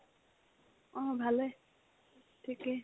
অ, ভালে ঠিকে